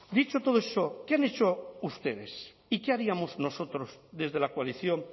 dicho todo eso qué han hecho ustedes y qué haríamos nosotros desde la coalición